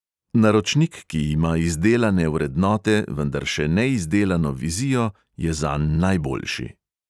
Naročnik, ki ima izdelane vrednote, vendar še neizdelano vizijo, je zanj najboljši.